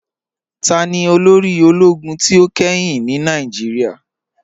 Tani olóri òlógún tí o kẹ́hìn ní Nàìjíríà?